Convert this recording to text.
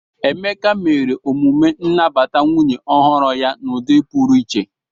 Emeka mere emume nnabata nwunye ọhụrụ ya n'ụdị pụrụ iche.